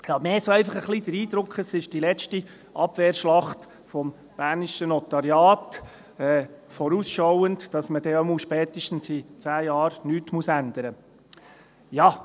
Ich habe eher einfach so den Eindruck, dies sei die erste Abwehrschlacht des bernischen Notariats, vorausschauend, damit man dann jedenfalls spätestens in zehn Jahren nichts ändern muss.